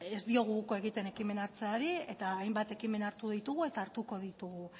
ez diogu uko egiten ekimena hartzeari eta hainbat ekimen hartu ditugu eta hartuko ditugu